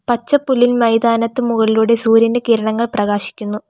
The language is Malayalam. പച്ചപ്പുല്ലിൻ മൈതാനത്ത് മുകളിലൂടെ സൂര്യൻ്റെ കിരണങ്ങൾ പ്രകാശിക്കുന്നു.